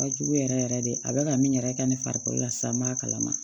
Ka jugu yɛrɛ yɛrɛ de a bɛ ka min yɛrɛ kɛ ne farikolo la sisan n'a kalama